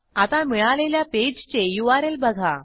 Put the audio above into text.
आता मिळालेल्या पेजचे यूआरएल बघा